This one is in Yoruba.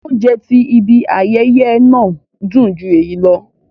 Óunjẹ ti ìbi àyẹyẹ náà dun ju éyi lọ